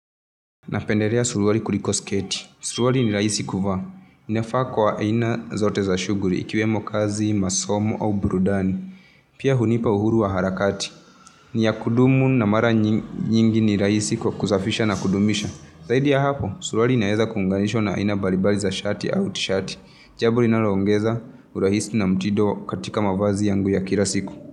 Napenderea sulwari kuliko sketi sulwari ni raisi kuvaa ninafaa kwa aina zote za shuguri ikiwemo kazi masomo au burudani pia hunipa uhuru wa harakati ni yakudumu na mara nyingi ni raisi kwa kusafisha na kudumisha zaidi ya hapo sulwari inaeza kunganishwa na aina baribari za shati au tishati jaburi na linaloongeza urahisi na mtido katika mawazi yangu ya kirasiku.